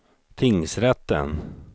tingsrätten